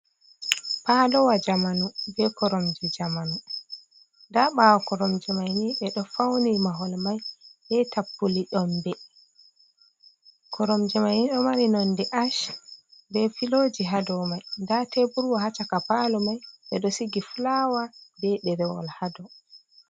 Palowa njamanu be koromje njamanu, nda ɓawo koromje mai ni ɓe ɗo fauni mahol mai be tapule nyombe, koromje mai ni ɗo mari nonde ash be piloji ha dou mai, nda teburwa ha chaka palo man ɓe ɗo sigi fulawa be ɗerewol ha dou.